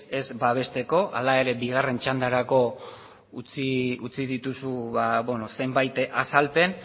ez babesteko hala ere bigarren txandarako utzi dituzu zenbait azalpen